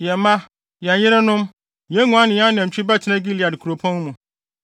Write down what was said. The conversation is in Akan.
Yɛn mma, yɛn yerenom, yɛn nguan ne yɛn anantwi bɛtena Gilead nkuropɔn mu.